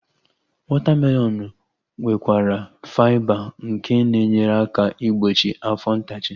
Wọta melọnu nwekwara faiba nke na-enyere aka igbochi afọ ntachi